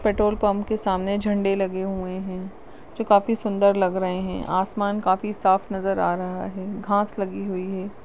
इस पेट्रोलपम्प के सामने झंडे लगे हुए है जो काफी सुंदर लग रहे है आसमान काफी साफ नजर आ रहा है घास लगी हुई है।